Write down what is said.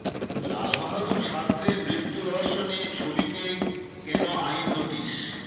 লালবাহাদুর শাস্ত্রীর মৃত্যু রহস্য নিয়ে ছবিকে কেন আইনি নোটিস